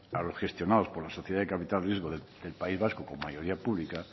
a los gestionados por la sociedad de capital riesgo del país vasco con mayoría pública